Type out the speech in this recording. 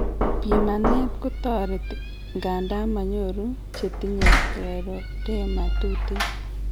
Pimanet kotareti, ng'anda manyoru chetinye scleroderma tuten